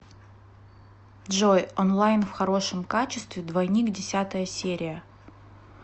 джой онлайн в хорошем качестве двойник десятая серия